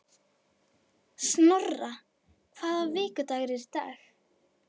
Snorra, hvaða vikudagur er í dag?